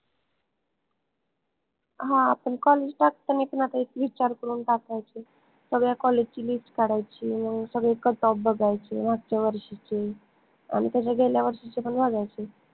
हां आपन college टाकतांनी पन आता एक विचार करून टाकायचे सगळ्या college ची list काढायची मंग सगळे Cutoff बघायचे मागच्या वर्षीचे आणि त्याच्या गेल्या वर्षीचे पन बघायचे